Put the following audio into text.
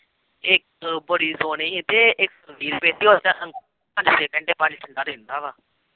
ਇੱਕ ਬੜੀ ਸੋਹਣੀ ਸੀ ਤੇ ਇੱਕ ਵੀਹ ਰੁਪਏ ਦੀ ਪਾਣੀ ਠੰਢਾ ਰਹਿੰਦਾ ਵਾ।